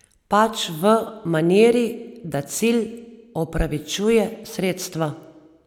Pač v maniri, da cilj opravičuje sredstva.